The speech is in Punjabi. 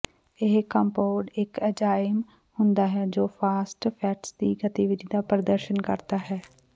ਇਹ ਕੰਪੋਡ ਇੱਕ ਐਂਜ਼ਾਈਮ ਹੁੰਦਾ ਹੈ ਜੋ ਫਾਸਫੈਟਸ ਦੀ ਗਤੀਵਿਧੀ ਦਾ ਪ੍ਰਦਰਸ਼ਨ ਕਰਦਾ ਹੈ